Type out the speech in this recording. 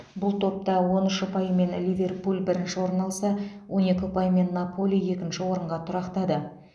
бұл топта он үш ұпаймен ливерпуль бірінші орын алса он екі ұпаймен наполи екінші орынға тұрақтады